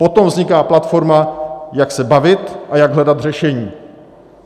Potom vzniká platforma, jak se bavit a jak hledat řešení.